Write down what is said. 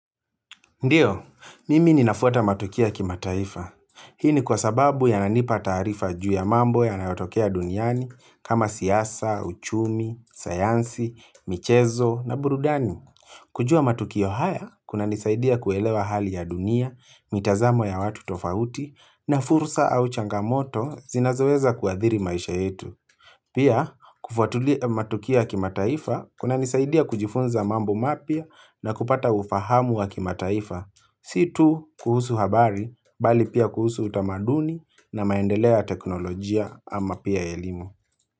Ndiyo, mimi ninafuata matukio ya kimataifa. Hii ni kwa sababu yananipa taarifa juu ya mambo yanayotokea duniani kama siasa, uchumi, sayansi, michezo na burudani. Kujua matukio haya kunanisaidia kuelewa hali ya dunia, mitazamo ya watu tofauti na fursa au changamoto zinazoweza kuadhiri maisha yetu. Pia, kufuatulia matukio ya kimataifa kunanisaidia kujifunza mambo mapya na kupata ufahamu wa kimataifa. Si tu kuhusu habari bali pia kuhusu utamaduni na maendelea ya teknolojia ama pia elimu.